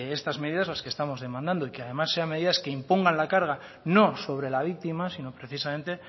estas medidas las que estamos demandando y que además sean medidas que impongan la carga no sobre la víctima sino precisamente